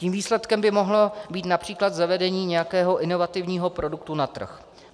Tím výsledkem by mohlo být například zavedení nějakého inovativního produktu na trh.